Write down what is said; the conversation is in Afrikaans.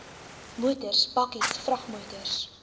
motors bakkies vragmotors